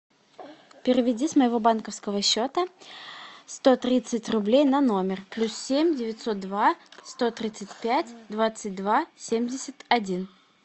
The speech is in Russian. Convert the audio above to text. переведи с моего банковского счета сто тридцать рублей на номер плюс семь девятьсот два сто тридцать пять двадцать два семьдесят один